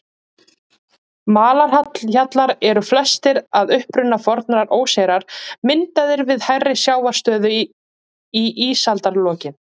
Malarhjallar eru flestir að uppruna fornar óseyrar, myndaðir við hærri sjávarstöðu í ísaldarlokin.